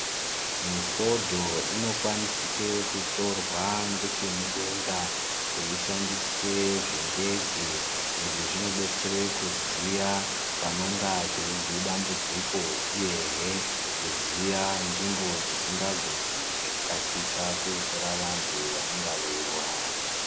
Mifondo inokwanisike kutorwa ngechemudenga keishandiswe zvindege. Izvi zvinobetsere kuziya panonga peibve dambudziko, uyehe kuziya nzvimbo dzisingagumi ngekukasika kudzora vantu vanonga veirwara.